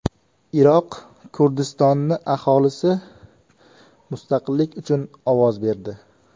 Iroq Kurdistoni aholisi mustaqillik uchun ovoz berdi.